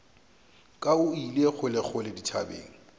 ka o ile kgolekgole dithabeng